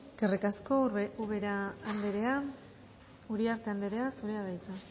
eskerrik asko ubera anderea uriarte anderea zurea da hitza